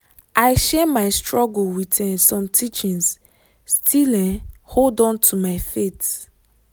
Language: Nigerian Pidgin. i share my struggle with um some teachings still um hold on to my faith